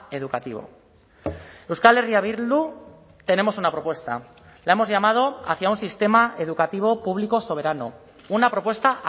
educativo euskal herria bildu tenemos una propuesta la hemos llamado hacia un sistema educativo público soberano una propuesta